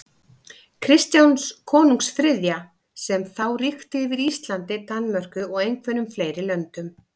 Kristjáns konungs þriðja, sem þá ríkti yfir Íslandi, Danmörku og einhverjum fleiri löndum.